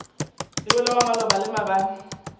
yola wa maloba le maabane